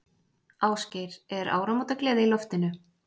Ásgeir, er áramótagleði í loftinu?